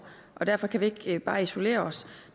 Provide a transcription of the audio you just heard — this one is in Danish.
derfor kan vi ikke bare isolere os